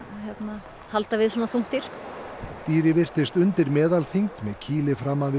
að halda við svona þungt dýr dýrið virtist undir meðalþyngd með kýli framan við